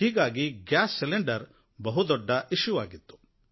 ಹೀಗಾಗಿ gas cylinder ಬಹುದೊಡ್ಡ ವಿಷಯ ಆಗಿತ್ತು